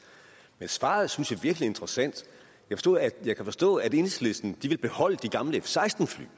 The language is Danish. men svaret synes jeg virkelig er interessant jeg kan forstå at enhedslisten vil beholde de gamle f seksten fly